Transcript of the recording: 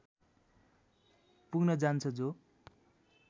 पुग्न जान्छ जो